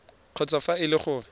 kgotsa fa e le gore